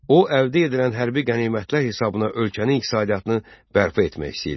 O, əldə edilən hərbi qənimətlər hesabına ölkənin iqtisadiyyatını bərpa etmək istəyirdi.